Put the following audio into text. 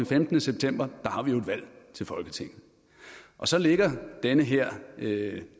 femtende september har vi jo et valg til folketinget og så ligger den her